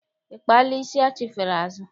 I kpaala isi achifere azụ?